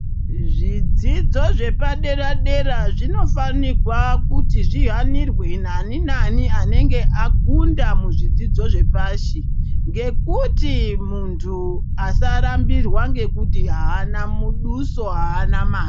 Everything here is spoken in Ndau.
Zvidzidzo zvepadera-dera zvinofanigwa kuti zvihanirwe nani nai anenge akunda muzvidzidzo zvepashi. Ngekuti muntu asarambirwa ngekuti haana muduso, haana mari.